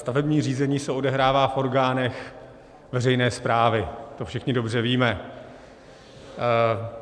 Stavební řízení se odehrává v orgánech veřejné správy, to všichni dobře víme.